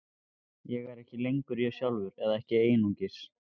Ég er ekki lengur ég sjálfur, eða ekki einungis.